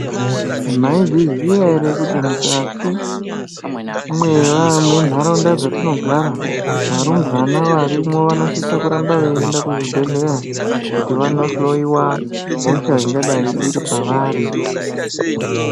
Maizviziya here kuti mwukati mentaraunda dzatinogara, varumbwana varimwo vanosisa kuramba veienda kuchibhedhleya kuti vandohloyiwa hosha ingadai iri pavari?